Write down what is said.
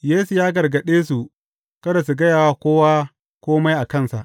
Yesu ya gargaɗe su kada su gaya wa kowa kome a kansa.